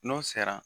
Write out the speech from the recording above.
N'o sera